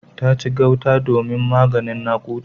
Ta ci gauta domin maganin nakuda.